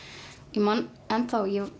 ég man ennþá